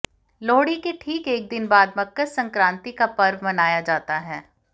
लोहड़ी के ठीक एक दिन बाद मकर संक्रांति का पर्व मनाया जाता है